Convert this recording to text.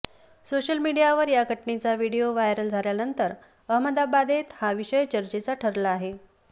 social मीडियावर या घटनेचा व्हिडिओ व्हायरल झाल्यानंतर अहमदाबादेत हा विषय चर्चेचा ठरला आहे